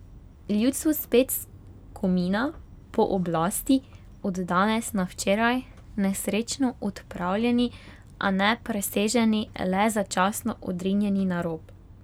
Ljudstvo spet skomina po oblasti od danes na včeraj, nesrečno odpravljeni, a ne preseženi, le začasno odrinjeni na rob.